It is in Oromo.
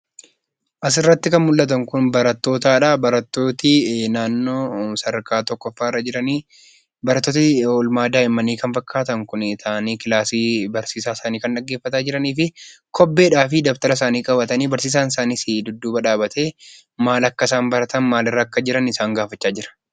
Asirratti kan mul'atan kun barattootadha. Barattooti naanno sadarkaa tokkoffaarra jirani, barattooti oolmaa daa'imanii kan fakkaatan kun taa'anii daree barsiisaa isaanii dhaggeeffataa kan jiraniifi kobbeedhaafi daftara isaanii qabatanii barsiisaan isaanisi dudduuba dhaabbatee, maal akka isaan baratan, maalirra akka isaa jiran gaafachaa jira.